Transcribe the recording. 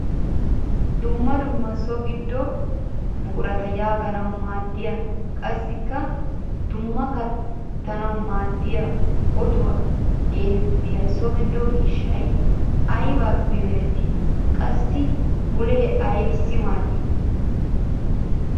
Dumma dumma so gido buqurata yegannawu maaddiya qassikka qumma kattanawu maaddiya ottuwa geetettiya so gido miishshay aybbippe meretti? Qassikka bulle aybbissi maaddi?